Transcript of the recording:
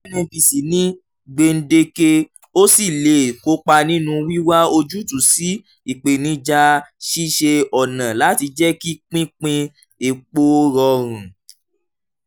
nnpc ní gbèǹdéke ó sì lè kópa nínú wíwá ojútùú sí ìpènijà ṣíṣe ọ̀nà láti jẹ́ kí pínpín epo rọrùn.